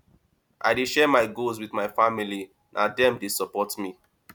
i dey share my goals wit my family na dem dey support me